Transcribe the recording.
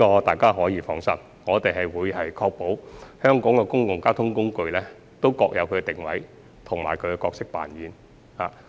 大家可以放心，我們會確保香港的公共交通工具各有定位及角色扮演。